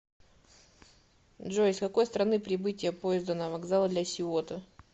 джой из какой страны прибытие поезда на вокзал ля сиота